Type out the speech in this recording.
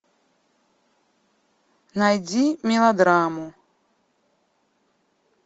найди мелодраму